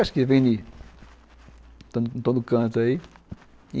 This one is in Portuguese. Acho que vem de de todo canto aí.